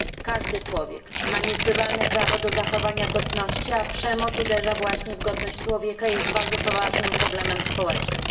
Każdy człowiek ma niezbywalne prawo do zachowania godności, a przemoc, która uderza właśnie w godność człowieka, jest bardzo poważnym problemem społecznym.